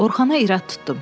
Orxana irad tutdum.